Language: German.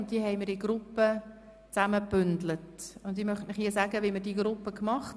Diese haben wir in Gruppen gebündelt.